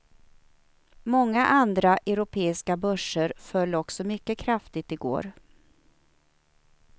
Många andra europeiska börser föll också mycket kraftigt i går.